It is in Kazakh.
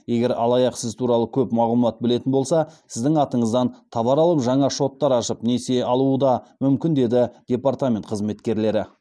егер алаяқ сіз туралы көп мағлұмат білетін болса сіздің атыңыздан товар алып жаңа шоттар ашып несие алуы да мүмкін деді департамент қызметкерлері